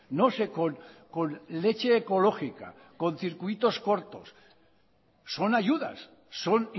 no sé con leche ecológica con circuitos cortos son ayudas son